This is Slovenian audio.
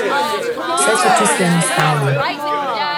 Vse so čisto enostavne.